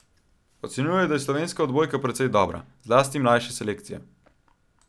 Ocenjuje, da je slovenska odbojka precej dobra, zlasti mlajše selekcije.